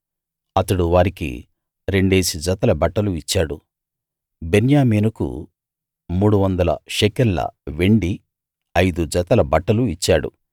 అతడు వారికి రెండేసి జతల బట్టలు ఇచ్చాడు బెన్యామీనుకు 300 షెకెల్ ల వెండి ఐదు జతల బట్టలు ఇచ్చాడు